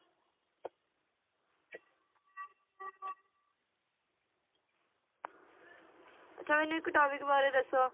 ਅੱਛਾ ਮੈਨੂੰ ਇੱਕ topic ਬਾਰੇ ਦੱਸੋ